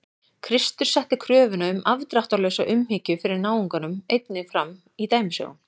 Kristur setti kröfuna um afdráttarlausa umhyggju fyrir náunganum einnig fram í dæmisögum.